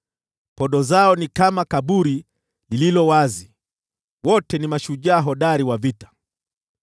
Podo zao ni kama kaburi lililo wazi, wote ni mashujaa hodari wa vita.